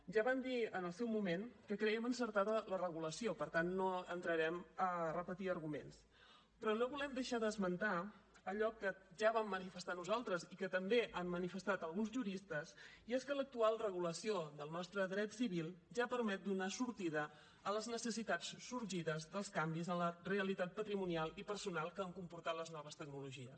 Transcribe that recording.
ja vam dir en el seu moment que crèiem encertada la regulació per tant no entrarem a repetir arguments però no volem deixar d’esmentar allò que ja vam manifestar nosaltres i que també han manifestat alguns juristes i és que l’actual regulació del nostre dret civil ja permet donar sortida a les necessitats sorgides dels canvis en la realitat patrimonial i personal que han comportat les noves tecnologies